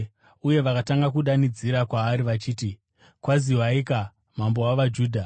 Uye vakatanga kudanidzira kwaari vachiti, “Kwaziwaika, mambo wavaJudha!”